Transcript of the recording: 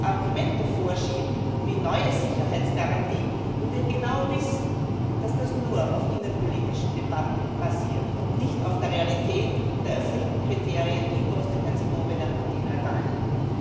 Argumente vorschieben, wie neue Sicherheitsgarantien, während wir genau wissen, dass das nur auf innenpolitischen Debatten basiert und nicht auf der Realität der erfüllten Kriterien in Bosnien Herzegowina und in Albanien.